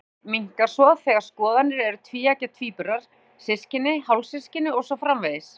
Fylgnin minnkar svo þegar skoðaðir eru tvíeggja tvíburar, systkini, hálfsystkini og svo framvegis.